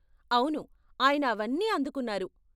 అవును, ఆయన అవన్నీ అందుకున్నారు.